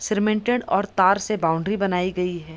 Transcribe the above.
Cemented और तार से बाउंड्री बनाई गई है।